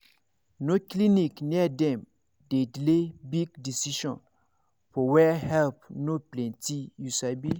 no clinic near dem dey delay big decision for where help no plenty you sabi